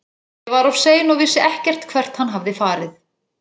Ég var of sein og vissi ekkert hvert hann hafði farið.